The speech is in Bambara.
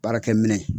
Baarakɛ minɛ